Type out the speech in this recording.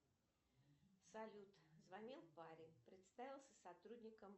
салют звонил парень представился сотрудником